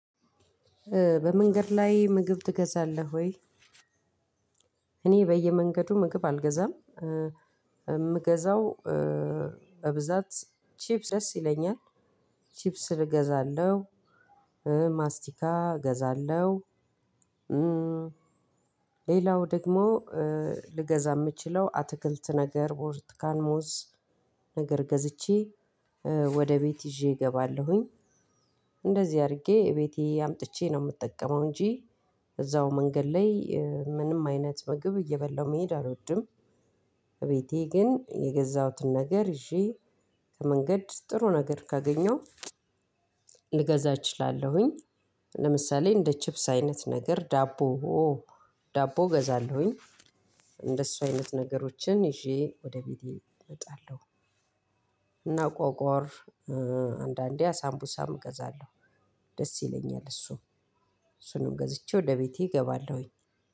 በመንገድ ላይ ምግብ ትገዛለህ ወይ? እኔ በየመንገዱ ምግብ አልገዛም። የምገዛው በብዛት ቺፕስ ደስ ይላኛል። ቺፕስ እገዛለሁ። ማስቲካ እገዛለሁ። ሌላው ደግሞ ልገዛ የምችለው አትክልት ነገር ቡርቱካን ሞዝ። ነገር ገዝቼ ወደ ቤት ይዤ እገባለሁኝ። እንደዚህ አድርጌ እቤቴ አምጥቼ ነው የምጠቀመው እንጂ እዛው መንገድ ላይ ምንም አይነት ምግብ እየበላሁ መሄድ አልወድም። እቤቴ ግን የገዛሁትን ነገር ይዤ ከመንገድ ጥሩ ነገር ካገኘሁ ልገዛ እችላለሁኝ። ለምሳሌ እንደ ቺፕስ አይነት ነገር ዳቦ ዳቦ ገዛለሁኝ። እንደሱ አይነት ነገሮችን ይዤ ወደ ቤቴ እመጣለሁ። ቆቆር አንዳንዴ አሳምቡሳም እገዛለሁ ደስ ይለኛል እሱ። እሱንም ገዝቼ ወደ ቤቴ እገባለሁኝ